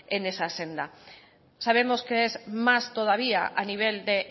en esa senda sabemos que es más todavía a nivel de